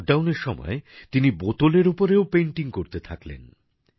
লকডাউনের সময় তিনি বোতলের ওপরেও পেইন্টিং করতে থাকলেন